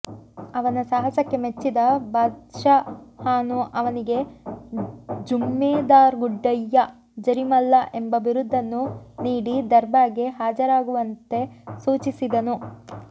ಅವನ ಸಾಹಸಕ್ಕೆ ಮೆಚ್ಚಿದ ಬಾದ್ಷಹಾನು ಅವನಿಗೆ ಜುಮ್ಮೇದಾರ್ಗುಡ್ಡಯ್ಯ ಜರಿಮಲ್ಲ ಎಂಬ ಬಿರುದನ್ನು ನೀಡಿ ದರ್ಬಾರ್ಗೆ ಹಾಜರಾಗುವಂತೆ ಸೂಚಿಸಿದನು